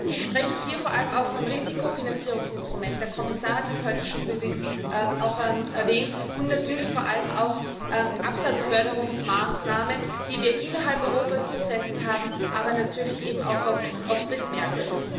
Ich spreche hier vor allem auch von Risikofinanzierungsinstrumenten der Kommissar hat das heute schon erwähnt und natürlich vor allem auch von Absatzförderungsmaßnahmen, die wir innerhalb Europas zu setzen haben, aber natürlich eben auch auf Drittmärkten.